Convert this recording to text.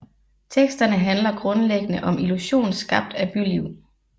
Teksterne handler grundlæggende om illusion skabt af byliv